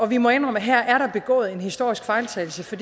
vi må indrømme at her er der begået en historisk fejltagelse for